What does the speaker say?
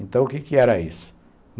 Então, o quê que era isso?